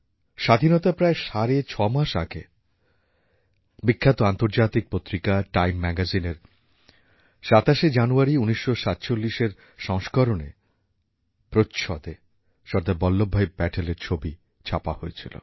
স্বাধীনতার প্রায় সাড়ে ছ মাস আগে বিখ্যাত আন্তর্জাতিক পত্রিকা টাইম ম্যাগাজিনের ২৭ জানুয়ারি ১৯৪৭এরসংস্করণে প্রচ্ছদে সর্দার পটেলের ছবি ছাপা হয়েছিল